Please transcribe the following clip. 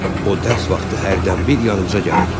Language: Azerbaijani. O dərs vaxtı hərdən bir yanımıza gəlir.